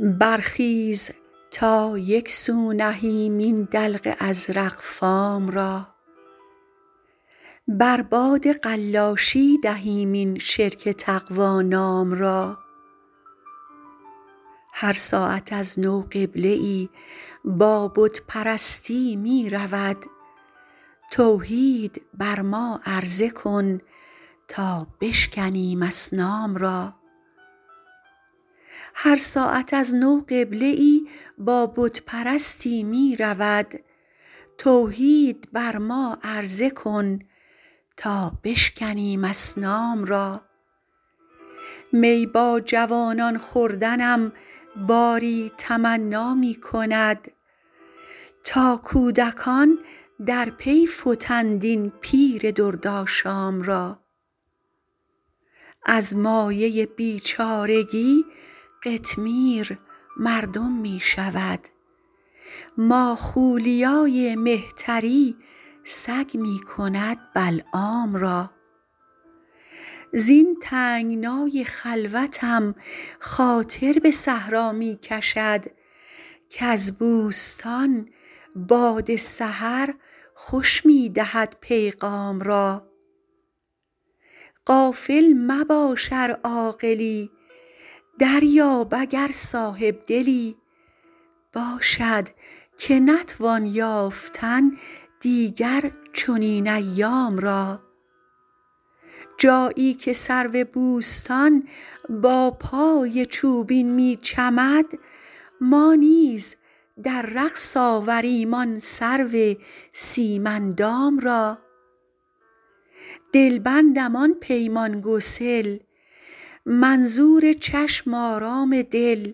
برخیز تا یک سو نهیم این دلق ازرق فام را بر باد قلاشی دهیم این شرک تقوا نام را هر ساعت از نو قبله ای با بت پرستی می رود توحید بر ما عرضه کن تا بشکنیم اصنام را می با جوانان خوردنم باری تمنا می کند تا کودکان در پی فتند این پیر دردآشام را از مایه بیچارگی قطمیر مردم می شود ماخولیای مهتری سگ می کند بلعام را زین تنگنای خلوتم خاطر به صحرا می کشد کز بوستان باد سحر خوش می دهد پیغام را غافل مباش ار عاقلی دریاب اگر صاحب دلی باشد که نتوان یافتن دیگر چنین ایام را جایی که سرو بوستان با پای چوبین می چمد ما نیز در رقص آوریم آن سرو سیم اندام را دلبندم آن پیمان گسل منظور چشم آرام دل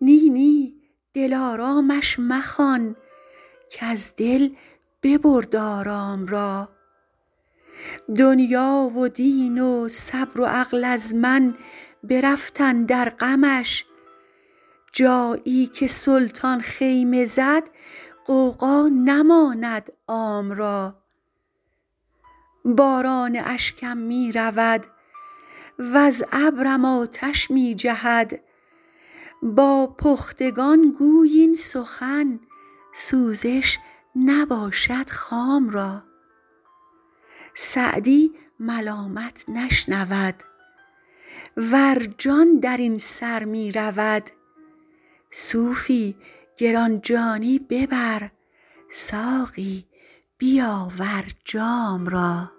نی نی دلآرامش مخوان کز دل ببرد آرام را دنیا و دین و صبر و عقل از من برفت اندر غمش جایی که سلطان خیمه زد غوغا نماند عام را باران اشکم می رود وز ابرم آتش می جهد با پختگان گوی این سخن سوزش نباشد خام را سعدی ملامت نشنود ور جان در این سر می رود صوفی گران جانی ببر ساقی بیاور جام را